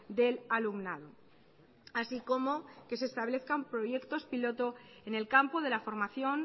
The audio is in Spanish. del alumnado así como que se establezcan proyectos piloto en el campo de la formación